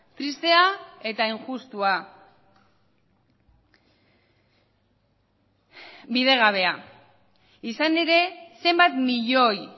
tristea eta injustua bidegabea izan ere zenbat milioi